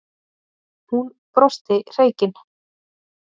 Hún brosti hreykin.